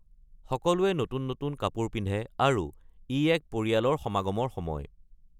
সকলোৱে নতুন নতুন কাপোৰ পিন্ধে আৰু ই এক পৰিয়ালৰ সমাগমৰ সময়।